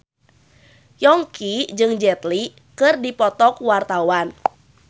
Yongki jeung Jet Li keur dipoto ku wartawan